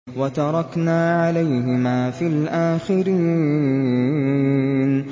وَتَرَكْنَا عَلَيْهِمَا فِي الْآخِرِينَ